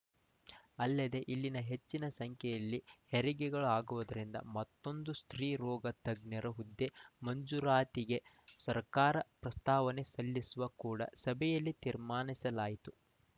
ಅಲ್ಲದೇ ಇಲ್ಲಿ ಹೆಚ್ಚಿನ ಸಂಖ್ಯೆಯಲ್ಲಿ ಹೆರಿಗೆಗಳು ಆಗುವುದರಿಂದ ಮತ್ತೊಂದು ಸ್ತ್ರೀ ರೋಗ ತಜ್ಞರ ಹುದ್ದೆ ಮಂಜೂರಾತಿಗೆ ಸರ್ಕಾರಪ್ರಸ್ತಾವನೆ ಸಲ್ಲಿಸಲು ಕೂಡಾ ಸಭೆಯಲ್ಲಿ ತೀರ್ಮಾನಿಸಲಾಯಿತು